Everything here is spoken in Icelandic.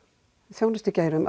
þjónustugeirum